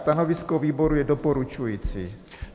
Stanovisko výboru je doporučující.